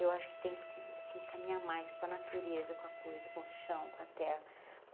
Eu acho que tem que se caminhar mais com a natureza, com a coisa, com o chão, com a terra.